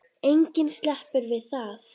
Enginn sleppur við það.